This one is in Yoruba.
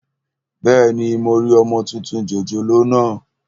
Bẹ́ẹ̀ni, mo rí ọmọ tuntun jòjòló naa